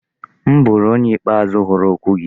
M bụrụ onye ikpeazụ hụrụ okwu gị.